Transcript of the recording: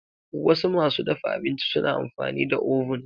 Wasu masu dafa abinci suna amfani da oven.